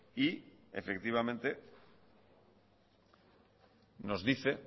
y nos dice